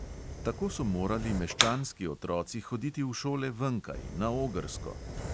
Tako so morali meščanski otroci hoditi v šole venkaj, na ogrsko!